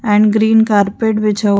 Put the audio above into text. and green carpet बिछा ह --